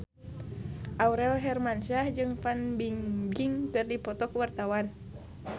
Aurel Hermansyah jeung Fan Bingbing keur dipoto ku wartawan